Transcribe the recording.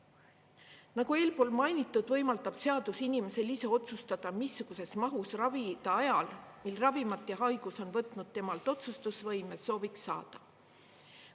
Nagu eelpool mainitud, võimaldab seadus inimesel ise otsustada, missuguses mahus ravida ajal, mil ravimid ja haigus on võtnud temalt otsustusvõime, soovi saada.